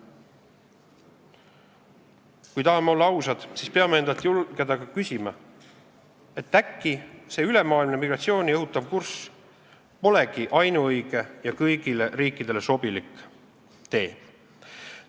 Kui tahame olla ausad, siis peame endalt julgema ka küsida, et äkki see ülemaailmne migratsiooni õhutav kurss polegi ainuõige ja kõigile riikidele sobilik tee.